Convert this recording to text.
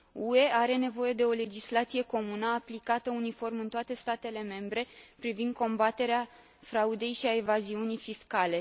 UE are nevoie de o legislație comună, aplicată uniform în toate statele membre, privind combaterea fraudei și a evaziunii fiscale.